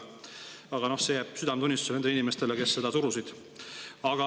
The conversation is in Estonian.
Aga see jääb nende inimeste südametunnistusele, kes seda surusid.